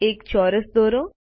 એક ચોરસ દોરો